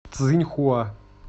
цзиньхуа